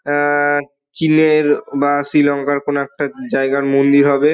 আ-আ-আ চীনের বা শ্রী-লঙ্কার কোনো একটা জায়গার মন্দির হবে।